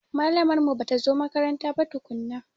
Malamar mu bata zo makaranta ba tukunna.